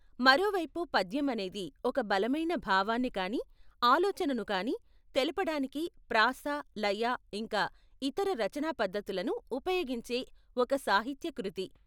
మరోవైపు పద్యం అనేది ఒక బలమైన భావాన్ని కానీ ఆలోచనను కానీ తెలపటానికి ప్రాస, లయ ఇంకా ఇతర రచనాపద్ధతులను ఉపయోగించే ఒక సాహిత్య కృతి.